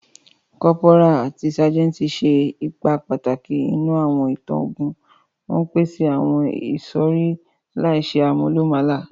Cọ́póra ati ságẹntì ṣe awọn ipa pataki ninu awọn itan ogun, won paṣẹ àwon ìsọ̀rí láìse àmúlùmálà